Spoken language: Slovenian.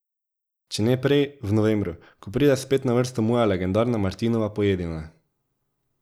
Če ne prej, v novembru, ko pride spet na vrsto moja legendarna Martinova pojedina.